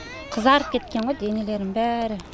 қызарып кеткен ғой денелерінің бәрі